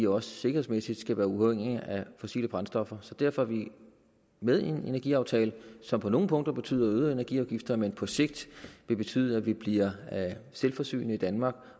også sikkerhedsmæssigt skal være uafhængig af fossile brændstoffer derfor er vi med i en energiaftale som på nogle punkter betyder øgede energiafgifter men som på sigt vil betyde at vi bliver selvforsynende i danmark